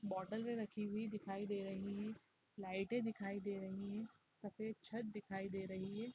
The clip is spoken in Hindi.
बोटले रखी हुई दिखाई दे रही है लाइटे दिखाई दे रही है सफेद छत दिखाई दे रही है।